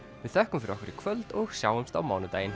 við þökkum fyrir okkur í kvöld og sjáumst á mánudaginn